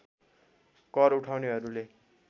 कर उठाउनेहरूले